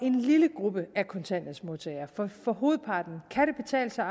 en lille gruppe af kontanthjælpsmodtagere for hovedparten kan det betale sig